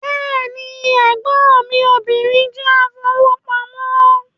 Bẹ́ẹ̀ni, ẹ̀gbọ́n mí obìnrin jẹ́ afowópamọ́